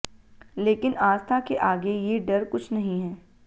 लेकिन आस्था के आगे ये डर कुछ नहीं है